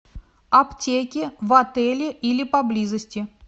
аптеки в отеле или поблизости